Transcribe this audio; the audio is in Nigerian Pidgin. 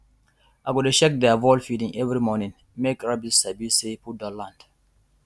i go dey shake their feed bowl every morning make rabbit sabi say food don land